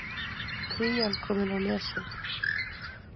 Krían komin á Nesið